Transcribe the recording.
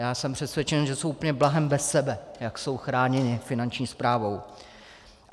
Já jsem přesvědčen, že jsou úplně blahem bez sebe, jak jsou chráněni Finanční správou.